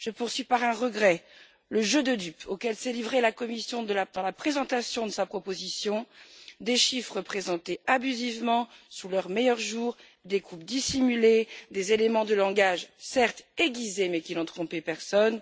Mais je regrette le jeu de dupes auquel s'est livrée la Commission dans la présentation de sa proposition des chiffres présentés abusivement sous leur meilleur jour, des coupes dissimulées, des éléments de langage, certes aiguisés, mais qui n'ont trompé personne.